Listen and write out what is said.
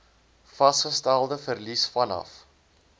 vasgestelde verlies vanaf